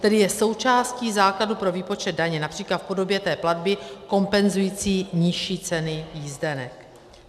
Tedy je součástí základu pro výpočet daně, například v podobě té platby kompenzující nižší ceny jízdenek.